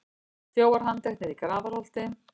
Þjófar handteknir í Grafarholti